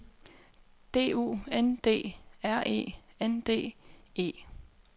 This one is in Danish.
D U N D R E N D E